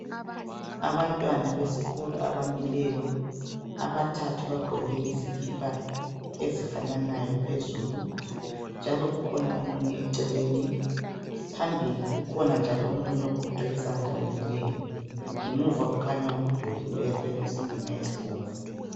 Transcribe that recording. Abantwana besikolo abamileyo abathathu bagqoke izikipa ezifananayo phezulu njalo kukhona omunye eceleni phambili kukhona njalo omunye ogoqe izandla omileyo, ngemuva kukhanya umduli oyakhiwe ngezitina ezibomvu.